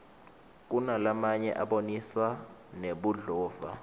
kunalamanye abonisa nebudlova